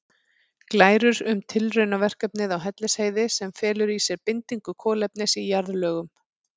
Glærur um tilraunaverkefni á Hellisheiði sem felur í sér bindingu kolefnis í jarðlögum.